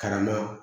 Karama